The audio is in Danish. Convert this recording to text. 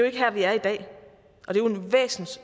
ikke her vi er i dag